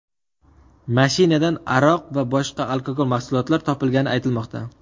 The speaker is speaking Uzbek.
Mashinadan aroq va boshqa alkogol mahsulotlar topilgani aytilmoqda.